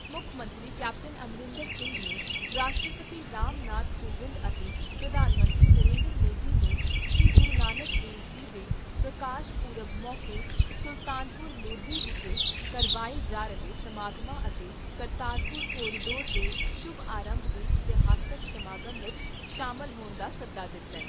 ਮੁੱਖ ਮੰਤਰੀ ਕੈਪਟਨ ਅਮਰਿੰਦਰ ਸਿੰਘ ਨੇ ਰਾਸ਼ਟਰਪਤੀ ਰਾਮ ਨਾਥ ਕੋਵਿੰਦ ਅਤੇ ਪ੍ਰਧਾਨ ਮੰਤਰੀ ਨਰਿੰਦਰ ਮੋਦੀ ਨੂੰ ਸ੍ਰੀ ਗੁਰੂ ਨਾਨਕ ਦੇਵ ਜੀ ਦੇ ਪ੍ਰਕਾਸ਼ ਪੁਰਬ ਮੌਕੇ ਸੁਲਤਾਨਪੁਰ ਲੋਧੀ ਵਿਖੇ ਕਰਵਾਏ ਜਾ ਰਹੇ ਸਮਾਗਮਾਂ ਅਤੇ ਕਰਤਾਰਪੁਰ ਕਾਰੀਡੋਰ ਦੇ ਸ਼ੁਭ ਆਰੰਭ ਦੇ ਇਤਿਹਾਸਕ ਸਮਾਗਮ ਵਿਚ ਸ਼ਾਮਲ ਹੋਣ ਦਾ ਸੱਦਾ ਦਿੱਤਾ ।